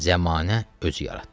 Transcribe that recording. Zəmanə özü yaratdı.